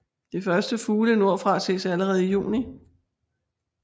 De første fugle nordfra ses allerede i juni